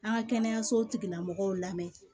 An ka kɛnɛyaso tigila mɔgɔw lamɛn